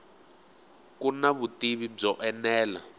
ku na vutivi byo enela